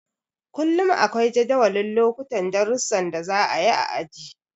Kullum akwai jadawalin lokutan darusan da za a yi a aji.